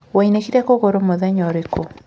Waunĩkire kũgũrũ mũthenya ũrĩkũ?